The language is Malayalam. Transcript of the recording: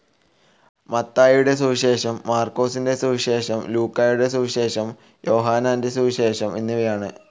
മത്തായിയുടെ സുവിശേഷം, മാർക്കോസിൻ്റെ സുവിശേഷം, ലൂക്കായുടെ സുവിശേഷം, യോഹന്നാൻ്റെ സുവിശേഷം എന്നിവയാണ്.